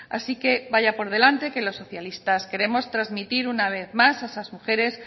así que vaya por delante que los socialistas queremos trasmitir una vez más a esas mujeres